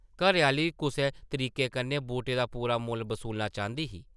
घरै-आह्ली कुसै तरीके कन्नै बूटें दा पूरा मुल्ल बसूलना चांह्दी ही ।